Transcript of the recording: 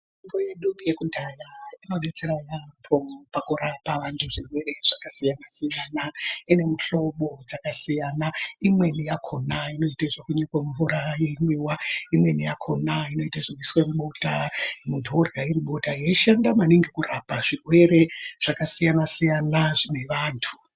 Mitombo yedu yekudhaya inodetsera yaambo pakurapa vantu zvirwere zvakasiyana-siyana. Ine muhlobo dzakasiyana: imweni yakhona inoite zvekunyikwe mumvura yomwiwa, imweni yakhona inoite zvekuiswa mubota muntu orya riri bota, yeishanda maningi kurapa zvirwere zvakasiyana-siyana zvine vantu.